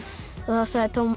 þá sagði